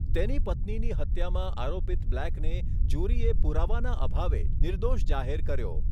તેની પત્નીની હત્યામાં આરોપિત બ્લેકને જ્યુરીએ પુરાવાના અભાવે નિર્દોષ જાહેર કર્યો.